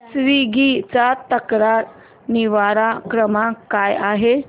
Swiggy चा तक्रार निवारण क्रमांक काय आहे